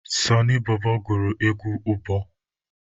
Sọnị bọbọ gụrụ egwu ụbọ